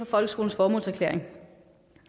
folkeskolens formålserklæring